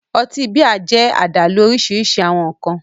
Ọtí bíà jẹ́ àdálù òrìṣirìṣi awọn nkan